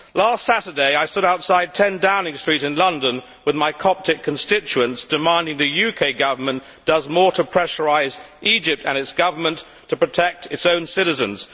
Last Saturday, I stood outside 10 Downing Street in London with my Coptic constituents demanding that the UK Government do more to pressurise Egypt and its government to protect its own citizens.